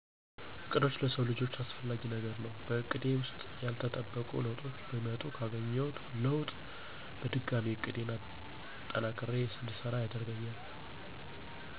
እቅዶች ለሰው ልጀ አሰፍላጊ ነገር ነው በእቀዴ ውሰጥ ያለተጠበቆ ለውጡች ቢመጡ ካገኝውት ለውጥ በድጋሚ እቅዴን አጠናክሪ እድሰራ ያደርገኛል።